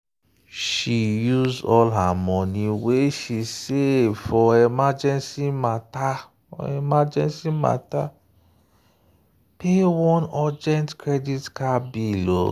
she use all her money wey she save for emergency matter emergency matter pay one urgent credit card bill.